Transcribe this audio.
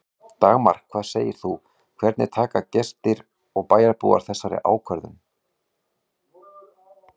Dagmar, hvað segir þú, hvernig taka gestir og bæjarbúar í þessa ákvörðun?